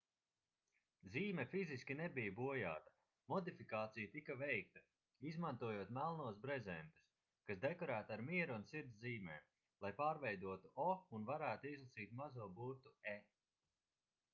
zīme fiziski nebija bojāta modifikācija tika veikta izmantojot melnos brezentus kas dekorēti ar miera un sirds zīmēm lai pārveidotu o un varētu izlasīt mazo burtu e